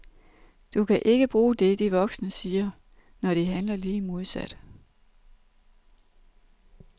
Du kan ikke bruge det de voksne siger, når de handler lige modsat.